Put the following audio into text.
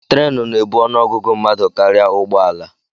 Trenu na-ebu ọnụ ọgụgụ mmadụ karịa ụgbọ ala